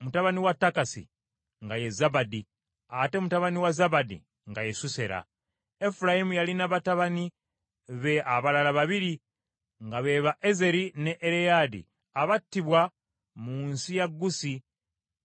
mutabani wa Takasi nga ye Zabadi, ate mutabani wa Zabadi nga ye Susera. Efulayimu yalina batabani be abalala babiri, nga be ba Ezeri ne Ereyaddi abattibwa mu nsi ya Gusi